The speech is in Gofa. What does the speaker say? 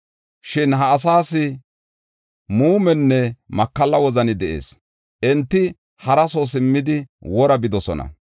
Shin ha asaas muumenne makalla wozani de7ees. Enti hara soo simmidi wora bidosona.